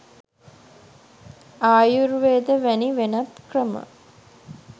ආයුර්වේද වැනි වෙනත් ක්‍රම